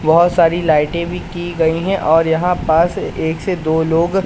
बहोत सारी लाइटें भी की गई हैं और यहां पास एक से दो लोग--